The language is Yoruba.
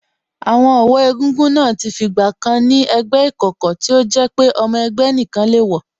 Àwọn ọ̀wọ́ egúngún náà ti fi ìgbà kan ni ẹgbẹ́ ìkọ̀kọ̀ tí ó jẹ́ pé ọmọ ẹgbẹ́ nìkan le wọ̀